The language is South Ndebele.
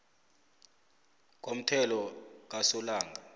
komthelo kasolanga